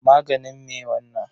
Maganin me wannan?